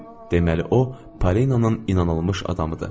Deməli o Pareyın inanılmış adamıdır.